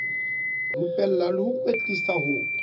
rupella le ho kwetlisa ho